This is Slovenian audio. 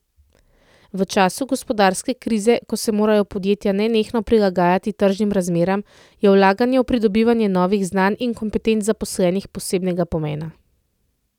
V času gospodarske krize, ko se morajo podjetja nenehno prilagajati tržnim razmeram, je vlaganje v pridobivanje novih znanj in kompetenc zaposlenih posebnega pomena.